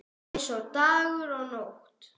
Eins og dagur og nótt.